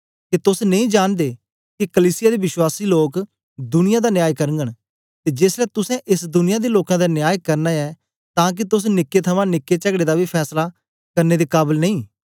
के तोस नेई जांनदे के कलीसिया दे विश्वासी लोक दुनिया दा न्याय करगन ते जेसलै तुसें एस दुनिया दे लोकें दा न्याय करना ऐ तां के तोस निक्के थमां निक्के चगड़े दा बी फैसला करने दे काबल नेई